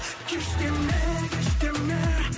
кеш деме кеш деме